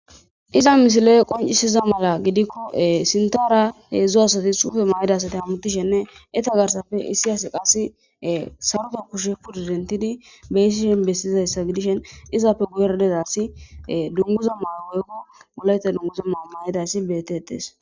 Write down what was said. Iza misiley qinccisiza mala gidikko sintaara hedzdzu asati suufera mayida asati hamuttishinne eta garssarappe issi asi qassi sarota kushe dentidi beyishe bessizayssa gidishin izappe guyera diza asi dunguza woykko wolayta dunguza mayo mayidaysati beettetes.